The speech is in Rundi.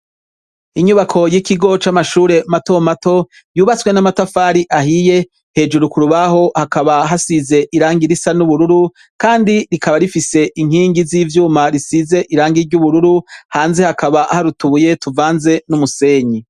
Inyubako y'ikigo camashure mato mato, yubatwe n'amatafari ahiye, hejuru k'urubaho hakaba hasize irangi risa n'ubururu kandi rikaba rifise inkingi z'ivyuma risize irangi ry'ubururu hanze hakaba hari utubuye tuvanze n'umusenyi.